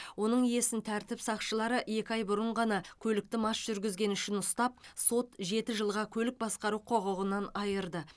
оның иесін тәртіп сақшылары екі ай бұрын ғана көлікті мас жүргізгені үшін ұстап сот жеті жылға көлік басқару құқығынан айырды